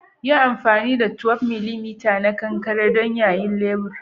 yin anfani 12mm na kankare don yayin lebur